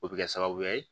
O bɛ kɛ sababu ye